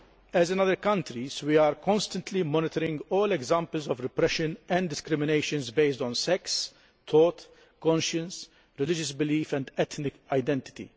As in other countries, we are constantly monitoring all examples of repression and discrimination based on sex, thought, conscience, religious belief or ethnic identity.